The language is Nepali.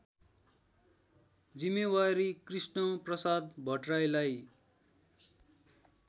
जिम्मेवारी कृष्णप्रसाद भट्टराईलाई